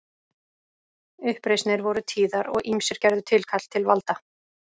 Uppreisnir voru tíðar og ýmsir gerðu tilkall til valda.